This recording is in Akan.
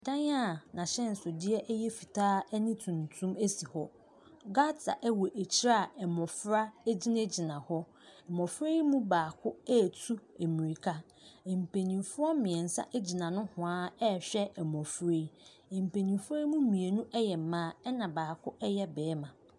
Dan a n'ahyɛnsodeɛ yɛ fitaa ne tuntum si hɔ. Gutter wɔ akyire a mmɔfra gyinagyina hɔ. Mmɔfra yi mu baako retu mmirika. Mpanimfoɔ mmeɛnsa gyina nohoa rehwɛ mmɔfra yo. Mpanimfoɔ yi mu mmienu yɛ mmaa, ɛna baako yɛ barima.